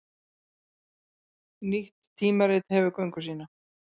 Nýtt tímarit hefur göngu sína